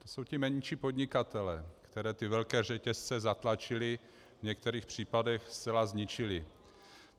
To jsou ti menší podnikatelé, které ty velké řetězce zatlačily, v některých případech zcela zničily.